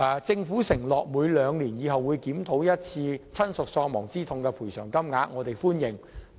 政府承諾未來會每兩年檢討一次親屬喪亡之痛賠償款額，我們對此表示歡迎。